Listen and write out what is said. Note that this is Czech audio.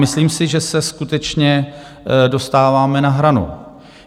Myslím si, že se skutečně dostáváme na hranu.